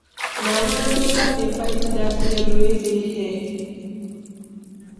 Mana Ndụka dey fight dat girl wey dey hair.